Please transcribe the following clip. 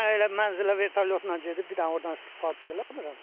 Mən elə mənzilə vertolyotla gedib bir dənə ordan istifadə eləmirəm ki.